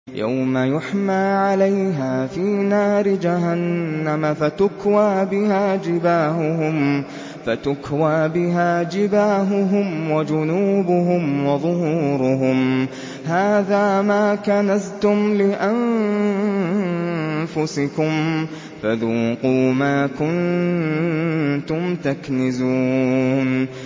يَوْمَ يُحْمَىٰ عَلَيْهَا فِي نَارِ جَهَنَّمَ فَتُكْوَىٰ بِهَا جِبَاهُهُمْ وَجُنُوبُهُمْ وَظُهُورُهُمْ ۖ هَٰذَا مَا كَنَزْتُمْ لِأَنفُسِكُمْ فَذُوقُوا مَا كُنتُمْ تَكْنِزُونَ